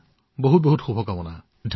অশেষ শুভকামনা থাকিল